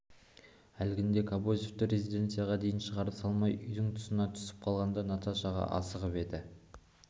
әлгінде кобозевті резиденцияға дейін шығарып салмай үйдің тұсынан түсіп қалғанда да наташаға асығып еді